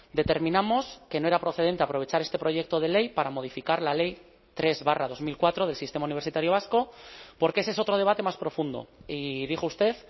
determinamos que no era procedente aprovechar este proyecto de ley para modificar la ley tres barra dos mil cuatro del sistema universitario vasco porque ese es otro debate más profundo y dijo usted